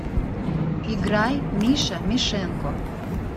играй миша мишенко